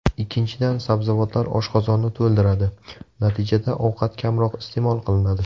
Ikkinchidan, sabzavotlar oshqozonni to‘ldiradi, natijada ovqat kamroq iste’mol qilinadi.